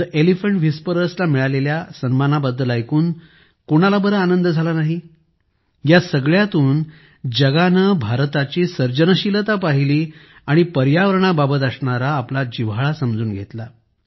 the Elephant Whisperers ला मिळालेल्या सन्मानाबद्दल ऐकून कोणाला बंर आनंद झाला नाहीयासगळ्यातून जगाने भारताची सर्जनशीलता पाहिली आणि पर्यावरणा बाबत असणारा आपला जिव्हाळा समजून घेतला